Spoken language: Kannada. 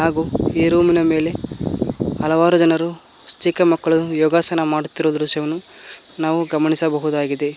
ಹಾಗೂ ಈ ರೂಮಿ ನ ಮೇಲೆ ಹಲವಾರು ಜನರು ಚಿಕ್ಕ ಮಕ್ಕಳು ಯೋಗಾಸನ ಮಾಡುತ್ತಿರುವ ದೃಶ್ಯವನ್ನು ನಾವು ಗಮನಿಸಬಹುದಾಗಿದೆ.